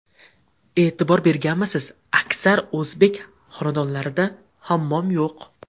E’tibor berganmisiz: aksar o‘zbek xonadonlarida hammom yo‘q.